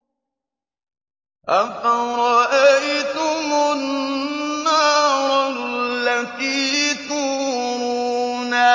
أَفَرَأَيْتُمُ النَّارَ الَّتِي تُورُونَ